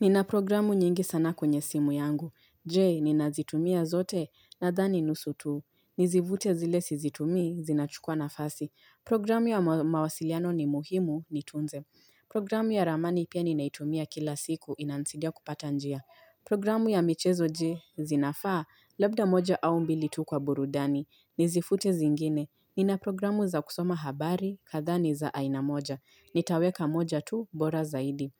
Nina programu nyingi sana kwenye simu yangu. Je, ninazitumia zote nathani nusu tu. Nizivute zile sizitumii, zinachukua na fasi. Programu ya mawasiliano ni muhimu, niitunze. Programu ya ramani pia ninaitumia kila siku, inanisaidia kupata njia. Programu ya michezo je, zinafaa, labda moja au mbili tu kwa burudani. Nizifute zingine. Nina programu za kusoma habari, kathaa ni za ainamoja. Nitaweka moja tu, bora zaidi.